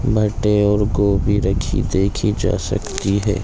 मटर और गोभी रखी देखी जा सकती है।